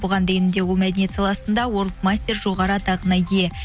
бұған дейін де ол мәдениет саласында мастер жоғары атағына ие